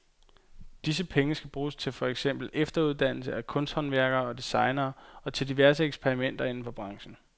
Disse penge skal bruges til for eksempel efteruddannelse af kunsthåndværkere og designere og til diverse eksperimenter inden for branchen.